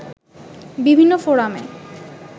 বিভিন্ন ফোরামে